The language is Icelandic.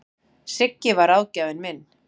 Siggi var ráðgjafinn minn.